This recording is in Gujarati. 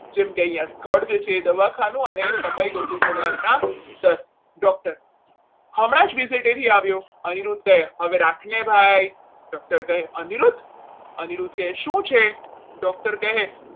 જેમ કે અહીંયા સ્થળ છે એ દવાખાનુ અને સમય તો કે સવારના દસ doctor હમણાં જ visit આવ્યો અનુરોધ કહે હવે રાખને ભાઈ doctor કહે અનિરુદ્ધ અનિરુદ્ધ કરીશું છે?